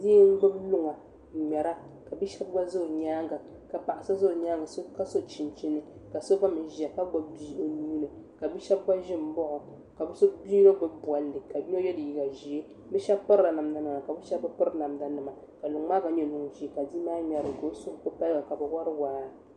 Bia n gbubi luŋa n ŋmɛra ka bia shab gba ʒɛ o nyaanga ka paɣa so gba ʒɛ o nyaanga ka so chinchini ka so gba mii ʒiya ka gbubi bia o nuuni ka bia shab gba ʒi n baɣa o ka bia yino gbubi bolli ka yino yɛ liiga ʒiɛ shab pirila namda nima ka shab bi piri namda nima ka luŋ maa gba nyɛ luŋ ʒiɛ ka bia maa ŋmɛrili ka bi suhu ku paligi ka bi wori waa